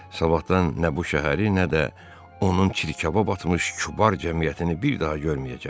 Sabahdan nə bu şəhəri, nə də onun çirkaba batmış kübar cəmiyyətini bir daha görməyəcəm.